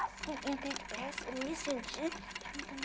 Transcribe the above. Assim, entrei depressa, me senti.